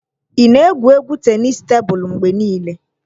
Ị na-egwu égwú tenisii tebụl mgbe niile?